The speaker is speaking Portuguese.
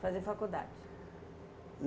Fazer faculdade?